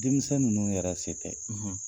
Denmisɛnw ninnu yɛrɛ se tɛ, .